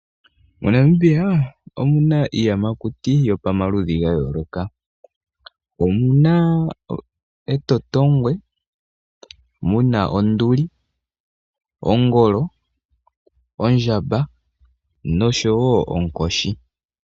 MoNamibia omuna iiyamakuti yopamaludhi gayooloka, omuna etotongwe, muna onduli, ongolo, ondjamba,